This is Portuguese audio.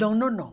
Não, não, não.